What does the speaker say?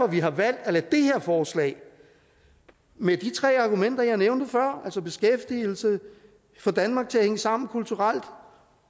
vi har valgt at lade det her forslag med de tre argumenter jeg nævnte før altså beskæftigelse få danmark til at hænge sammen kulturelt